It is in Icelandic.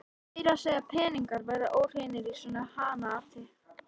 Meira að segja peningar verða óhreinir í svona hanaati.